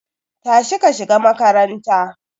Tashi ka shiga makaranta